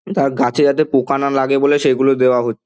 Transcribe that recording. তার গাছে যাতে পোকা না লাগে বলে সেগুলো দেওয়া হ--